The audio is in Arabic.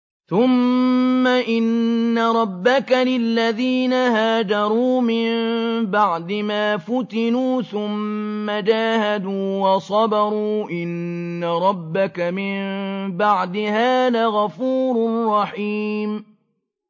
ثُمَّ إِنَّ رَبَّكَ لِلَّذِينَ هَاجَرُوا مِن بَعْدِ مَا فُتِنُوا ثُمَّ جَاهَدُوا وَصَبَرُوا إِنَّ رَبَّكَ مِن بَعْدِهَا لَغَفُورٌ رَّحِيمٌ